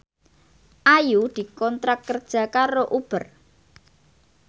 Ayu dikontrak kerja karo Uber